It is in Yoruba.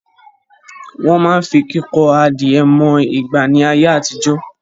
Wọ́n máa ń fi kíkọ adìẹ mọ ìgbà ni ayé àtijọ́